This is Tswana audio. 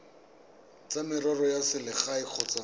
tsa merero ya selegae kgotsa